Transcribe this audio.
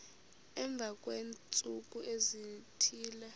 emva kweentsuku ezithile